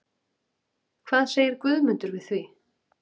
Hvað segir Guðmundur við því?